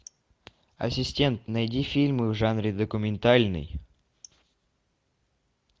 ассистент найди фильмы в жанре документальный